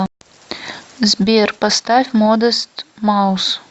сбер поставь модест маус